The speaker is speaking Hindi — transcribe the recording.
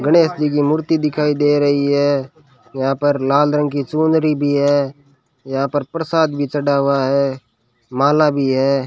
गणेश जी की मूर्ति दिखाई दे रही है यहां पर लाल रंग की चुनरी भी है यहां पर प्रसाद भी चढ़ा हुआ है माल भी है।